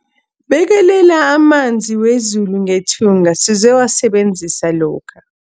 Bekelela amanzi wezulu ngethunga sizowasebenzisa lokha.